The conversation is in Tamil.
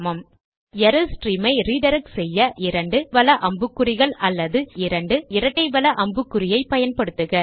ஆனால் எரர் ஸ்ட்ரீம் ஐ ரிடிரக்ட் செய்ய 2 வல அம்புக்குறி அல்லது 2 இரட்டை வல அம்புக்குறியை பயன்படுத்துக